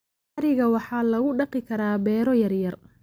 Ariga waxaa lagu dhaqi karaa beero yaryar.